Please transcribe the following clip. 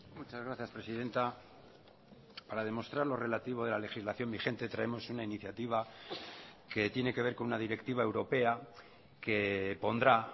muchas gracias presidenta para demostrar lo relativo de la legislación vigente traemos una iniciativa que tiene que ver con una directiva europea que pondrá